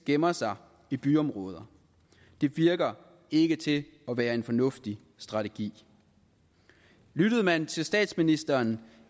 gemmer sig i byområder det virker ikke til at være en fornuftig strategi lyttede man til statsministeren